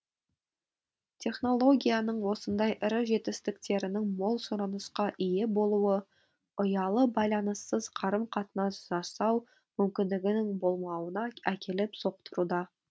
технологияның осындай ірі жетістіктерінің мол сұранысқа ие болуы ұялы байланыссыз қарым қатынас жасау мүмкіндігінің болмауына әкеліп соқтыруда